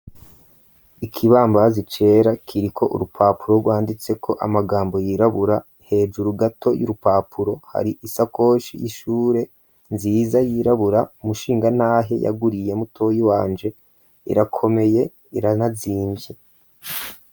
Ikibambazi cera kiriko urupapuro rwanditseko amajambo yirabura, hejuru gato y'urupapuro hari isakoshi y'ishure nziza yirabura umushingantahe yaguriye mutoyi wanje irakomeye iranazimvye.